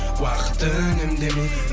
уақыт үнемдемей